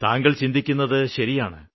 താങ്കള് ചിന്തിക്കുന്നത് ശരിയുമാണ്